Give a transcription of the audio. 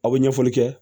Aw bɛ ɲɛfɔli kɛ